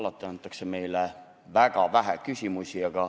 Alati lastakse meil esitada väga vähe küsimusi.